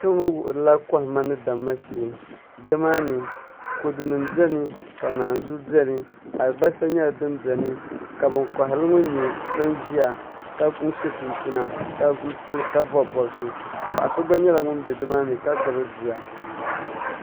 Kpɛŋŋo wuhurila kohamma ni damma shee nimaani kodu nim biɛni ka naanzuhi biɛni alibarisa nyɛla din biɛni ka bin koharili ŋo nyɛ bin ʒiya ka so chinchina ka bob bobsi paɣa so gba nyɛla ŋun bɛ nimaani ka gbubi bia